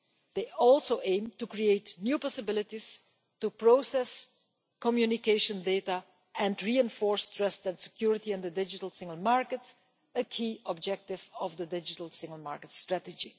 They also aim to create new possibilities to process communication data and reinforce trust and security in the digital single market, which is a key objective of the Digital Single Market Strategy.